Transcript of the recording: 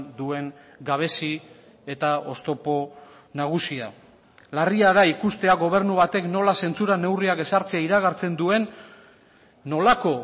duen gabezi eta oztopo nagusia larria da ikustea gobernu batek nola zentsura neurriak ezartzea iragartzen duen nolako